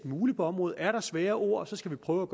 muligt på området er der svære ord skal vi prøve at